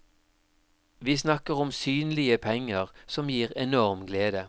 Vi snakker om synlige penger som gir enorm glede.